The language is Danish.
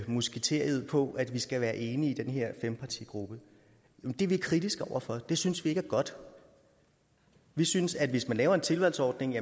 musketered på at man skal være enige i den her fempartigruppe det er vi kritiske over for det synes vi ikke er godt vi synes at hvis man laver en tilvalgsordning